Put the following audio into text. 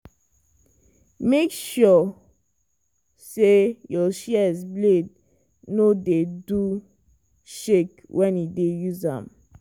make sure say your shears blade no dey no dey do shake when you dey use am.